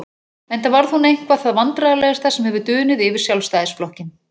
Enda varð hún eitthvað það vandræðalegasta sem hefur dunið yfir Sjálfstæðisflokkinn.